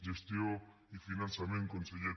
gestió i finançament conseller